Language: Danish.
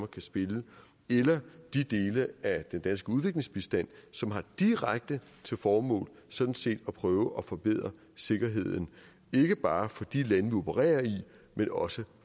kan spille eller de dele af den danske udviklingsbistand som har direkte til formål sådan set at prøve at forbedre sikkerheden ikke bare for de lande vi opererer i men også